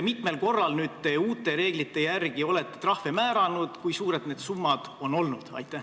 Mitmel korral te uute reeglite järgi olete trahvi määranud ja kui suured need summad on olnud?